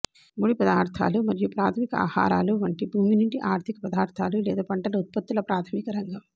ముడి పదార్ధాలు మరియు ప్రాథమిక ఆహారాలు వంటి భూమి నుండి ఆర్ధిక పదార్ధాలు లేదా పంటల ఉత్పత్తుల ప్రాధమిక రంగం